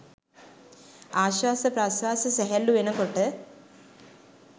ආශ්වාස ප්‍රශ්වාස සැහැල්ලු වෙන කොට